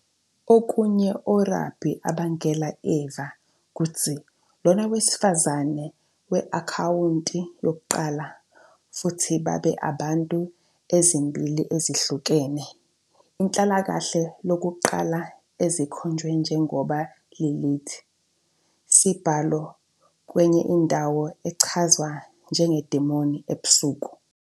Okunye Orabi abangela Eva kutsi lona wesifazane we-akhawunti yokuqala futhi babe abantu ezimbili ezihlukene, inhlalakahle lokuqala ezikhonjwe njengoba Lilith, sibalo kwenye indawo echazwe njengo idemoni ebusuku.